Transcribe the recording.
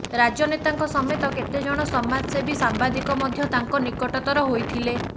ରାଜନେତାଙ୍କ ସମେତ କେତେଜଣ ସମାଜସେବୀ ସାମ୍ବାଦିକ ମଧ୍ୟ ତାଙ୍କ ନିକଟତର ହୋଇଥିଲେ